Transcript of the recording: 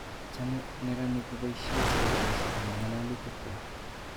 Chame meranik kopoisye sloganisyek eng' ng'alalutik kwak.